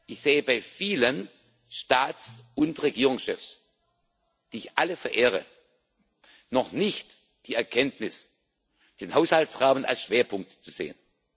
Ich sehe bei vielen Staats und Regierungschefs, die ich alle verehre, noch nicht die Erkenntnis, den Haushaltsrahmen als Schwerpunkt zu sehen.